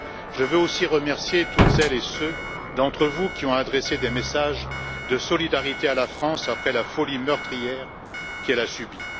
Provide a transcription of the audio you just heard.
Je veux aussi remercier toutes celles et ceux d'entre vous qui ont adressé des messages de solidarité à la France après la folie meurtrière qu'elle a subie.